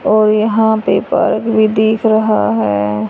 और यहां पे पार्क भी दिख रहा है।